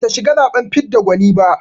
Bata shiga zaɓen fidda gwani ba.